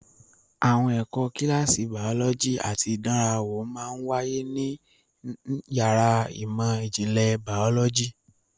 Àwọn kíláàsì bàọ́lọ́jì àti ìdánrawò máa ń wáyé ní yàrá ìmọ̀ ìjìnlẹ̀ bàọ́lọ́jì.